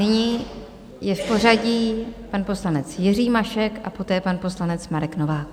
Nyní je v pořadí pan poslanec Jiří Mašek a poté pan poslanec Marek Novák.